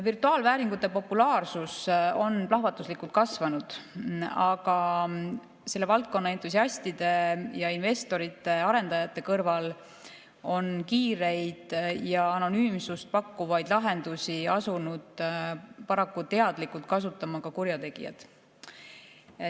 Virtuaalvääringute populaarsus on plahvatuslikult kasvanud, aga selle valdkonna entusiastide ja investorite-arendajate kõrval on kiireid ja anonüümsust pakkuvaid lahendusi asunud paraku teadlikult kasutama ka kurjategijad.